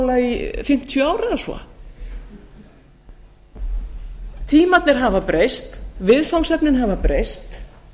alþjóðamála í fimmtíu ár eða svo tímarnir hafa breyst viðfangsefnin hafa breyst